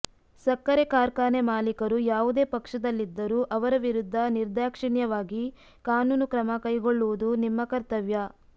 ಸಕ್ಕರೆ ಕಾರ್ಖಾನೆ ಮಾಲೀಕರು ಯಾವುದೇ ಪಕ್ಷದಲ್ಲಿದ್ದರೂ ಅವರ ವಿರುದ್ದ ನಿರ್ದಾಕ್ಷಿಣ್ಯವಾಗಿ ಕಾನೂನು ಕ್ರಮ ಕೈಗೊಳ್ಳುವುದು ನಿಮ್ಮ ಕರ್ತವ್ಯ